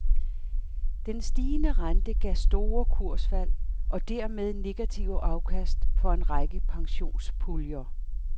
Den stigende rente gav store kursfald og dermed negative afkast for en række pensionspuljer.